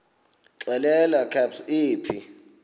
xelel kabs iphi